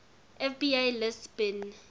fbi lists bin